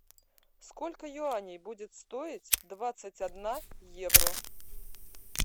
сколько юаней будет стоить двадцать одна евро